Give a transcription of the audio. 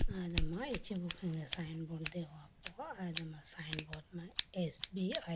Alama ichubu khege signboard deho poma signboard ma s_b_i .